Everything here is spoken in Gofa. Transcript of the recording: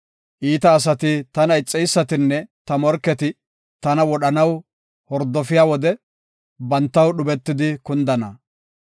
Iita asati, tana ixeysatinne ta morketi tana wodhanaw hordofiya wode, bantaw dhubetidi kundana.